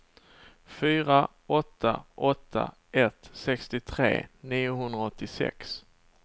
fyra åtta åtta ett sextiotre niohundraåttiosex